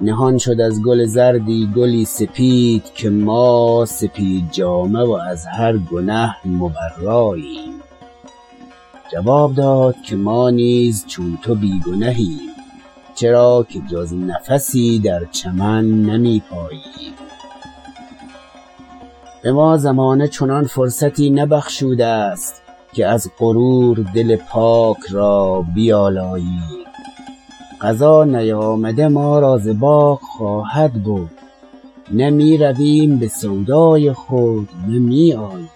نهان شد از گل زردی گلی سپید که ما سپید جامه و از هر گنه مبراییم جواب داد که ما نیز چون تو بی گنهیم چرا که جز نفسی در چمن نمیپاییم بما زمانه چنان فرصتی نبخشوده است که از غرور دل پاک را بیالاییم قضا نیامده ما را ز باغ خواهد برد نه میرویم بسودای خود نه می آییم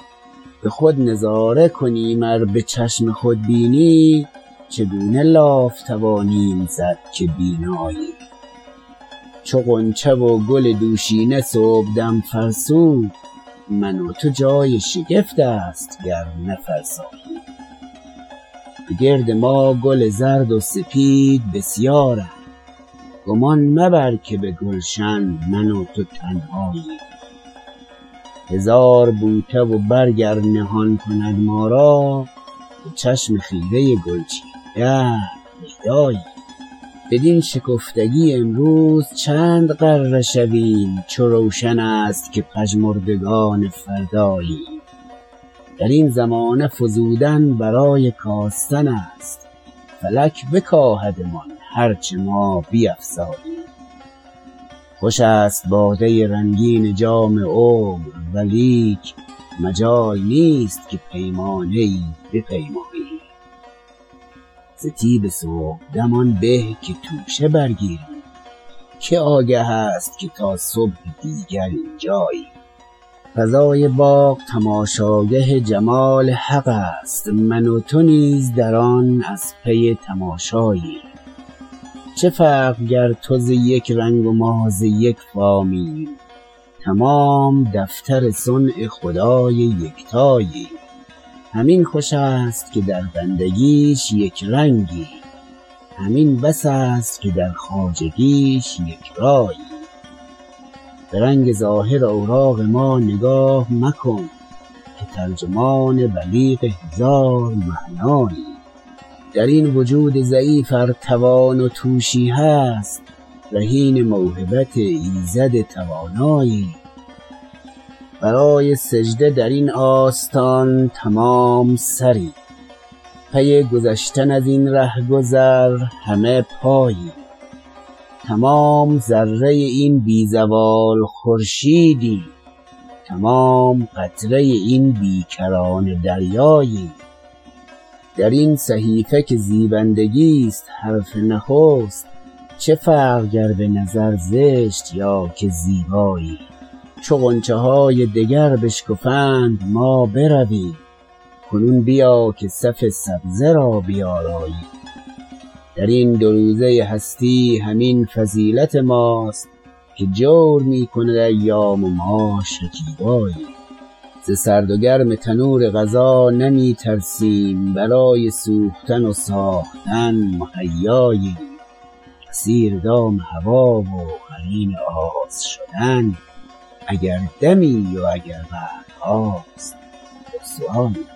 بخود نظاره کنیم ار بچشم خودبینی چگونه لاف توانیم زد که بیناییم چو غنچه و گل دوشینه صبحدم فرسود من و تو جای شگفت است گر نفرساییم بگرد ما گل زرد و سپید بسیارند گمان مبر که بگلشن من و تو تنهاییم هزار بوته و برگ ار نهان کند ما را به چشم خیره گلچین دهر پیداییم بدین شکفتگی امروز چند غره شویم چو روشن است که پژمردگان فرداییم درین زمانه فزودن برای کاستن است فلک بکاهدمان هر چه ما بیفزاییم خوش است باده رنگین جام عمر ولیک مجال نیست که پیمانه ای بپیماییم ز طیب صبحدم آن به که توشه برگیریم که آگه است که تا صبح دیگر اینجاییم فضای باغ تماشاگه جمال حق است من و تو نیز در آن از پی تماشاییم چه فرق گر تو ز یک رنگ و ما ز یک فامیم تمام دختر صنع خدای یکتاییم همین خوش است که در بندگیش یکرنگیم همین بس است که در خواجگیش یکراییم برنگ ظاهر اوراق ما نگاه مکن که ترجمان بلیغ هزار معناییم درین وجود ضعیف ار توان و توشی هست رهین موهبت ایزد تواناییم برای سجده درین آستان تمام سریم پی گذشتن ازین رهگذر همه پاییم تمام ذره این بی زوال خورشیدیم تمام قطره این بی کرانه دریاییم درین صحیفه که زیبندگیست حرف نخست چه فرق گر بنظر زشت یا که زیباییم چو غنچه های دگر بشکفند ما برویم کنون بیا که صف سبزه را بیاراییم درین دو روزه هستی همین فضیلت ماست که جور میکند ایام و ما شکیباییم ز سرد و گرم تنور قضا نمیترسیم برای سوختن و ساختن مهیاییم اسیر دام هوی و قرین آز شدن اگر دمی و اگر قرنهاست رسواییم